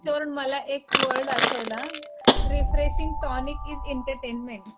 हे बघा ह्याच्यावरून मला एक वर्ड आठवला रीफ्रेशिंग टॉनिक इज एंटरटेनमेंट.